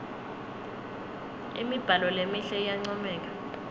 imibhalo lemihle iyancomeka